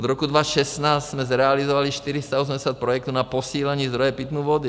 Od roku 2016 jsme zrealizovali 480 projektů na posílení zdrojů pitné vody.